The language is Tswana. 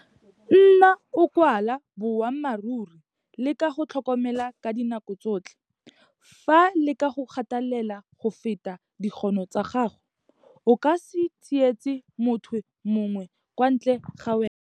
Nna o kwala boammaaruri le ka go tlhokomela ka dinako tsotlhe. Fa leka go kgatelela go feta dikgono tsa gago, o ka se tsietse motho mongwe kwa ntle ga wena.